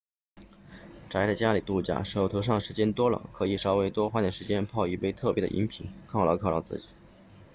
宅在家里度假手头上时间多了可以稍微多花点时间泡一杯特别的饮品犒劳犒劳自己